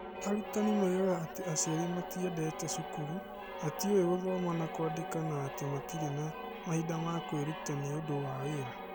Arutani moigaga atĩ aciari matiendete cukuru, matiũĩ gũthoma na kwandĩka na atĩ matirĩ na mahinda ma kwĩruta nĩ ũndũ wa wĩra.